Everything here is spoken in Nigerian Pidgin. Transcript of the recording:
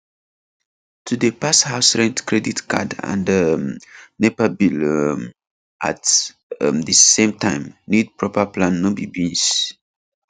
to dey pay house rent credit card and um nepa bill um at um di same time need proper plan no be beans